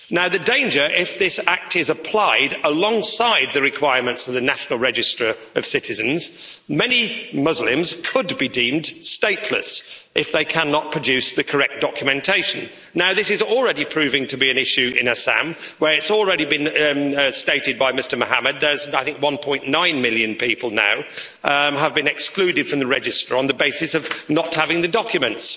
The danger, if this act is applied alongside the requirements of the National Register of Citizens, is that many Muslims could be deemed stateless if they cannot produce the correct documentation. This is already proving to be an issue in Assam, where it's already been stated by Mr Mohammed 1.9 million people have been excluded from the register on the basis of not having the documents.